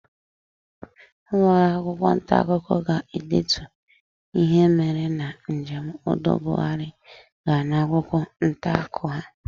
Ụlọọrụ akwụkwọ ntaakụkọ ga-edetu ihe mere na njem udo Buhari gara n'akwụkwọ ntaakụkọ ha.